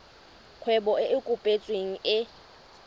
kgwebo e e kopetsweng e